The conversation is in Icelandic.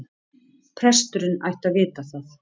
Presturinn ætti að vita það.